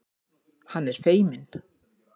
Hann er feiminn.